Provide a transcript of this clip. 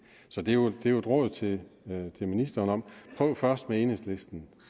så det er jo et råd til ministeren om først med enhedslisten